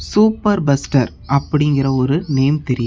Super buster அப்படிங்கற ஒரு name தெரியு.